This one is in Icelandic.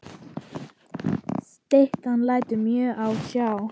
Styttan lætur mjög á sjá.